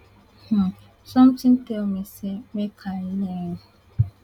um sometin tell me say make i lean